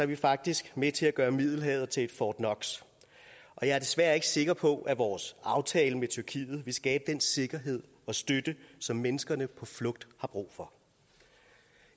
vi faktisk med til at gøre middelhavet til et fort knox og jeg er desværre ikke sikker på at vores aftale med tyrkiet vil skabe den sikkerhed og støtte som menneskene på flugt har brug for